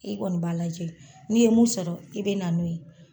E kɔni b'a lajɛ n'i ye mun sɔrɔ i be na n'o ye.